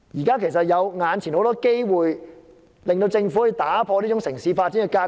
事實上，眼前有很多機會讓政府可打破這種城市發展的格局。